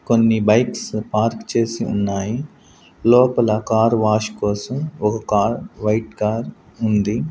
కొన్ని bikes park చేసి ఉన్నాయి లోపల కార్ వాష్ కోసం ఒక కార్ వైట్ కార్ ఉంది.